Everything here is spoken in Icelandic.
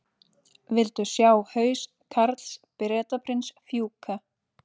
Vildu sjá haus Karls Bretaprins fjúka